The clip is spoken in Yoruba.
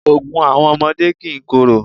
Ògùn àwọn ọmọdé kìí korò.